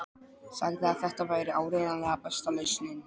Sagði að þetta væri áreiðanlega besta lausnin.